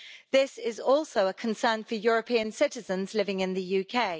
This is also a concern for European citizens living in the UK.